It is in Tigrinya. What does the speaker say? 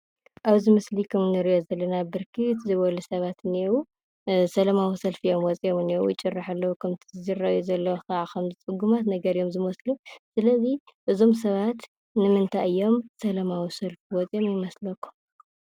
ኣብ እዚ ምስሊ ከም እንርእዮ ዘለና ብርክት ዝበሉ ሰባት እንኤዉ። ስላማዊ ሰልፊ እዮም ወፂኦም ዝንኤዉ፤ ይጭርሑ ከምቲ ዝራአዩ ዘለዉ ድማ ፅጉማት ነገራት እዮም ዝመስሉ። ስለ እዚ እዞም ሰባት ስለምንታይ እዮም ሰላማዊ ሰልፊ ወፂኦም ይመስለኩም?